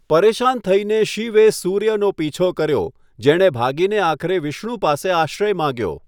પરેશાન થઇને શિવે સૂર્યનો પીછો કર્યો, જેણે ભાગીને આખરે વિષ્ણુ પાસે આશ્રય માગ્યો.